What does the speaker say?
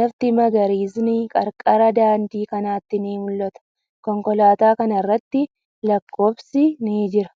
Lafti magariisni qarqara daandii kanaatti ni mul'atu. Konkolaataa kana irratti lakkoofsi ni jira.